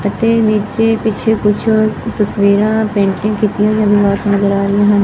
ਅਤੇ ਵਿਚ ਪਿੱਛੇ ਕੁਛ ਤਸਵੀਰਾਂ ਪੇਂਟਿੰਗ ਕੀਤੀਆਂ ਨਜ਼ਰ ਨਜ਼ਰ ਆ ਰਹੀਆਂ ਹਨ।